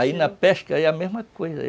Aí na pesca é a mesma coisa.